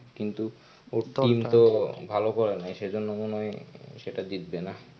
কিন্তু ওর team তো ভালো করে নাই সেজন্য মনে হয়. সেটা জিতবে না.